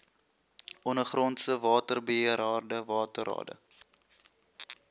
ondergrondse waterbeheerrade waterrade